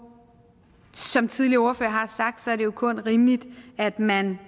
som tidligere ordførere har sagt er det jo kun rimeligt at man